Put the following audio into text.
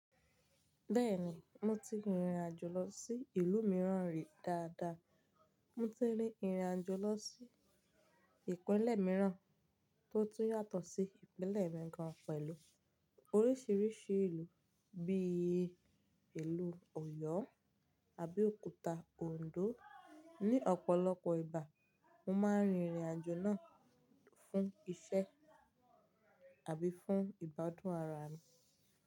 Bẹ́ẹ̀ni, mo ti rìnrìn àjò lọ sí ìlú mìíràn rí dáadáa. Mo ti rí ìrìn àjò lọ sí ìpínlẹ̀ mìíràn tó tún yàtọ̀ sí ìpínlẹ̀ mi gan pẹ̀lú oríṣiríṣi ìlú bí i ìlú Ọ̀yọ́ Abeokúta, Òǹdó. Ni ọ̀pọ̀lọpọ̀ ìgbà, mo máa ń rìnrìn àjò náà fún iṣẹ́ àbí fún ìbádùn ara mi.